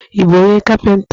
Ị bụ onye kapịnta?